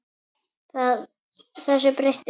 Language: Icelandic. Þessu breytti hún.